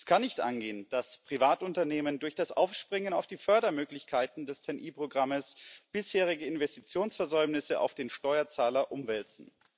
Es kann nicht angehen, dass Privatunternehmen durch das Aufspringen auf die Fördermöglichkeiten des TEN E Programmes bisherige Investitionsversäumnisse auf den Steuerzahler umwälzen.